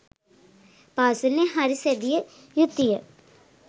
පාසලෙන් හරි සැදිය යුතුය